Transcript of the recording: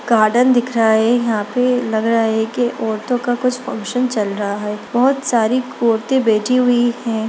Garden दिख रहा है यहाँ पे लग रहा है की औरतों का कुछ फंक्शन चल रहा है बहोत सारी औरतें बैठी हुई है।